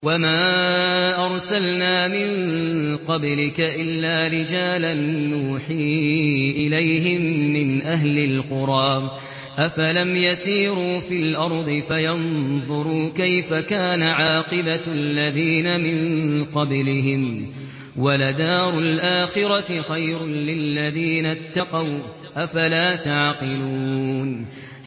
وَمَا أَرْسَلْنَا مِن قَبْلِكَ إِلَّا رِجَالًا نُّوحِي إِلَيْهِم مِّنْ أَهْلِ الْقُرَىٰ ۗ أَفَلَمْ يَسِيرُوا فِي الْأَرْضِ فَيَنظُرُوا كَيْفَ كَانَ عَاقِبَةُ الَّذِينَ مِن قَبْلِهِمْ ۗ وَلَدَارُ الْآخِرَةِ خَيْرٌ لِّلَّذِينَ اتَّقَوْا ۗ أَفَلَا تَعْقِلُونَ